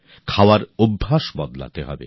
খাদ্যাভ্যাস বদলাতে হবে